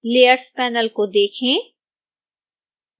layers panel को देखें